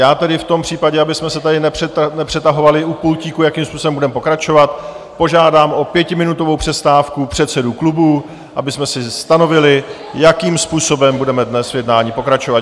Já tedy v tom případě, abychom se tady nepřetahovali u pultíku, jakým způsobem budeme pokračovat, požádám o pětiminutovou přestávku předsedů klubů, abychom si stanovili, jakým způsobem budeme dnes v jednání pokračovat.